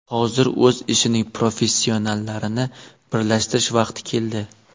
Hozir o‘z ishining professionallarini birlashtirish vaqti keldi.